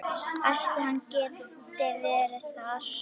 Ætli hann geti verið þar?